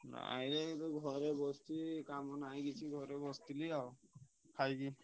ନାଇଁ ଏଇ ଘରେ ବସଚି କାମ ନାହି ଘରେ ବସଚି ଆଉ ଖାଇକି।